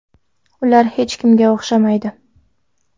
Ular hech kimga o‘xshamaydi.